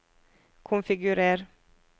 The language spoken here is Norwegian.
konfigurer